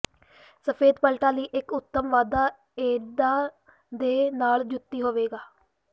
ਸਫੈਦ ਪਟਲਾਂ ਲਈ ਇਕ ਉੱਤਮ ਵਾਧਾ ਏਦਾਂ ਦੇ ਨਾਲ ਜੁੱਤੀ ਹੋਵੇਗਾ